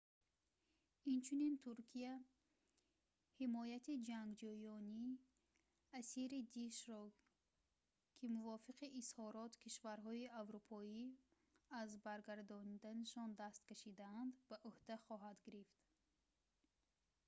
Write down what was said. инчунин туркия ҳимояти ҷангҷӯёни асири дииш-ро ки мувофиқи изҳорот кишварҳои аврупоӣ аз баргардонданашон даст кашидаанд ба ӯҳда хоҳад гирифт